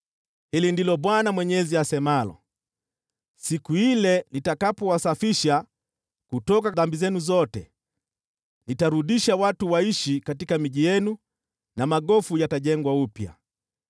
“ ‘Hili ndilo Bwana Mwenyezi asemalo: Siku ile nitakapowasafisha kutoka dhambi zenu zote, nitarudisha watu waishi katika miji yenu na magofu yatajengwa upya.